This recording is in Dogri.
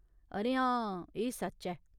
अरे हां, एह् सच्च ऐ।